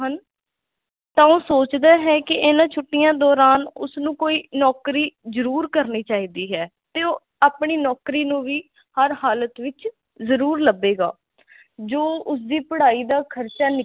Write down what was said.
ਤਾਂ ਉਹ ਸੋਚਦਾ ਹੈ ਕਿ ਇੰਨਾ ਛੁੱਟੀਆਂ ਦੌਰਾਨ ਉਸ ਨੂੰ ਕੋਈ ਨੌਕਰੀ ਜ਼ਰੂਰ ਕਰਨੀ ਚਾਹੀਦੀ ਆ ਤੇ ਉਹ ਆਪਣੀ ਨੌਕਰੀ ਨੂੰ ਵੀ ਹਰ ਹਾਲਤ ਵਿਚ ਜ਼ਰੂਰ ਲੱਭੇਗਾ ਜੋ ਉਸਦੀ ਪੜਾਈ ਦਾ ਖਰਚਾ ਨਿਕਲ ਜਾਵੇ